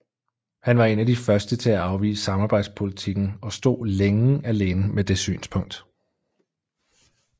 Han var en af de første til at afvise samarbejdspolitikken og stod længe alene med det synspunkt